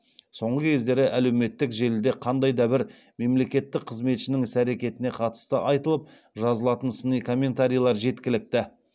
соңғы кездері әлеуметтік желіде қандай да бір мемлекеттік қызметшінің іс әрекетіне қатысты айтылып жазылатын сыни комментарийлер жеткілікті